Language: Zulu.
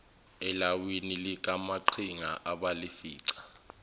elawini likamaqhinga abalifica